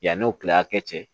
Yann'o kilen a kɛ cɛ